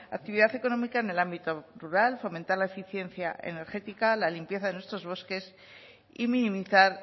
actividad económica en el ámbito rural fomentar la eficiencia energética la limpieza de nuestros bosques y minimizar